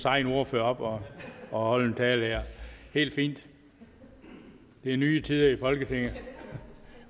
egen ordfører op op og holde en tale det er helt fint det er nye tider i folketinget